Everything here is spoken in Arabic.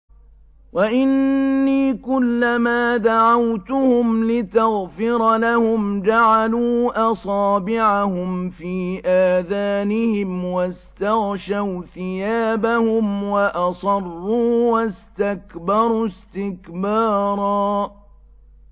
وَإِنِّي كُلَّمَا دَعَوْتُهُمْ لِتَغْفِرَ لَهُمْ جَعَلُوا أَصَابِعَهُمْ فِي آذَانِهِمْ وَاسْتَغْشَوْا ثِيَابَهُمْ وَأَصَرُّوا وَاسْتَكْبَرُوا اسْتِكْبَارًا